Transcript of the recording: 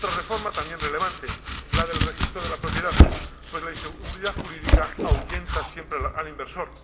Otra reforma, también relevante la del Registro de la Propiedad, pues la inseguridad jurídica ahuyenta siempre al inversor.